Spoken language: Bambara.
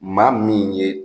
Maa min ye